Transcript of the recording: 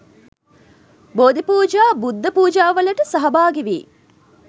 බෝධිපූජා බුද්ධ පූජාවලට සහභාගි වී